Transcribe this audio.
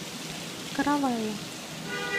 каравелла